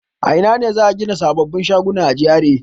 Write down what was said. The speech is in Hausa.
A ina ne za a gina sababbin shaguna a GRA?